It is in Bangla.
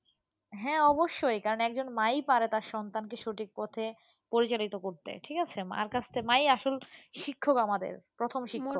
হ্যাঁ অবশ্যই কারণ একজন মা ই পারে তার সন্তানকে সঠিক পথে পরিচালিত করতে ঠিক আছে, মার কাছ থেকে মা ই আসল শিক্ষক আমাদের প্রথম শিক্ষক।